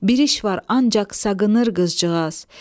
Bir iş var ancaq saqınır qızcığaz.